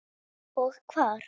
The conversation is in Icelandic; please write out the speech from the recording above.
Og hvar.